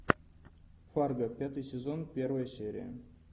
фарго пятый сезон первая серия